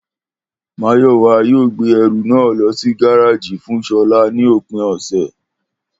Máyò̩wá yóò gbé e̩rù náà lo̩ sí gáráàjì fún S̩o̩lá ní òpìn ò̩sè̩